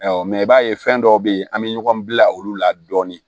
i b'a ye fɛn dɔw bɛ ye an bɛ ɲɔgɔn bila olu la dɔɔnin